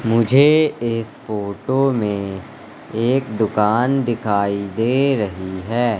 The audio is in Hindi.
मुझे इस फोटो में एक दुकान दिखाई दे रही है।